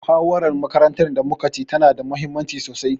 Muhawarar makarantar da muka ci tana da muhimmanci sosai.